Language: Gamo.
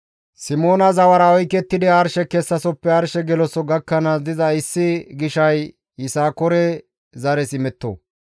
Simoona zawara oykettidi arshe kessasoppe arshe geloso gakkanaas diza issi gishay Yisakoore zares imetto.